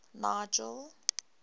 nigel